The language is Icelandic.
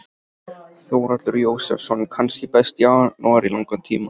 Þórhallur Jósefsson: Kannski besti janúar í langan tíma?